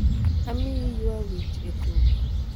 amiyi ywa wich e tugo